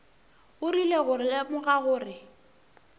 o rile go lemoga gore